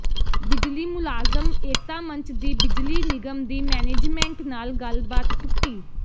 ਬਿਜਲੀ ਮੁਲਾਜ਼ਮ ਏਕਤਾ ਮੰਚ ਦੀ ਬਿਜਲੀ ਨਿਗਮ ਦੀ ਮੈਨੇਜਮੈਂਟ ਨਾਲ ਗੱਲਬਾਤ ਟੁੱਟੀ